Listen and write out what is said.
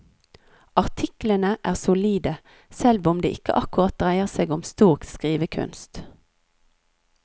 Artiklene er solide, selv om det ikke akkurat dreier seg om stor skrivekunst.